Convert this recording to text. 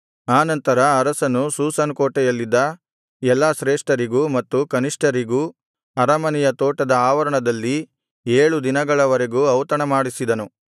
ಆ ನಂತರ ಅರಸನು ಶೂಷನ್ ಕೋಟೆಯಲ್ಲಿದ್ದ ಎಲ್ಲಾ ಶ್ರೇಷ್ಠರಿಗೂ ಮತ್ತು ಕನಿಷ್ಠರಿಗೂ ಅರಮನೆಯ ತೋಟದ ಆವರಣದಲ್ಲಿ ಏಳು ದಿನಗಳವರೆಗೂ ಔತಣಮಾಡಿಸಿದನು